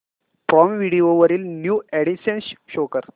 prime Video वरील new additions show कर